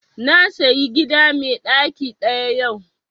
Na sayi gida mai ɗaki ɗaya yau